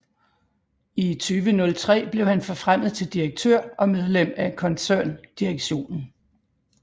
I 2003 blev han forfremmet til direktør og medlem af koncerndirektionen